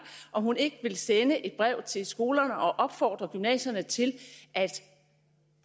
om hun ikke vil sende et brev til skolerne og opfordre gymnasierne til at